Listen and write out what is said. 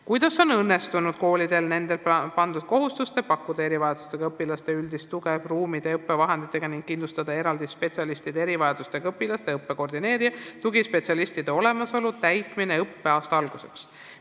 "Kuidas on õnnestunud koolidel nendele pandud kohustuste – pakkuda erivajadustega õpilastele üldist tuge ruumide ja õppevahenditega ning kindlustada eraldi spetsialistide – erivajadustega õpilaste õppe koordineerija ja tugispetsialistide olemasolu – täitmine õppeaasta alguseks?